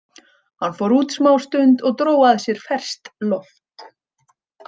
Hann fór út smástund og dró að sér ferskt loft.